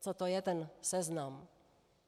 Co to je ten Seznam?